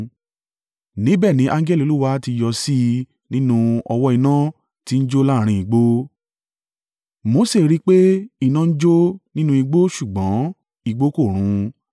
Níbẹ̀ ni angẹli Olúwa ti yọ sí i nínú ọ̀wọ́-iná tí ń jó láàrín igbó. Mose rí i pé iná ń jó nínú igbó ṣùgbọ́n igbó kò run.